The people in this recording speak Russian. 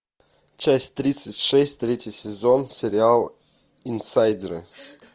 часть тридцать шесть третий сезон сериал инсайдеры